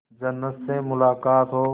जन्नत से मुलाकात हो